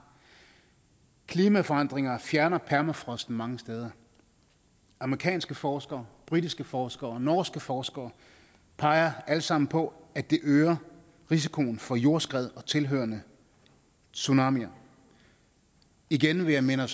klimaforandringer fjerner permafrosten mange steder amerikanske forskere britiske forskere og norske forskere peger alle sammen på at det øger risikoen for jordskred og tilhørende tsunamier igen vil jeg minde